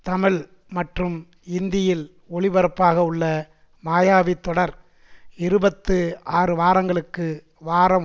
தமிழ் மற்றும் இந்தியில் ஒளிபரப்பாகவுள்ள மாயாவி தொடர் இருபத்து ஆறு வாரங்களுக்கு வாரம்